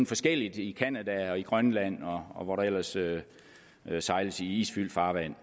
forskelligt i canada grønland og hvor der ellers sejles i isfyldt farvand